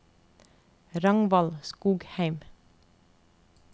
Ragnvald Skogheim